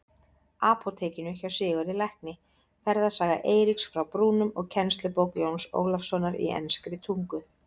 Apótekinu hjá Sigurði lækni, Ferðasaga Eiríks frá Brúnum og kennslubók Jóns Ólafssonar í enskri tungu.